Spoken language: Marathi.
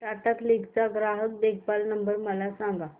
टाटा क्लिक चा ग्राहक देखभाल नंबर मला सांगा